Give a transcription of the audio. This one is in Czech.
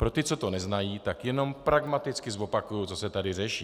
Pro ty, co to neznají, tak jenom pragmaticky zopakuji, co se tady řeší.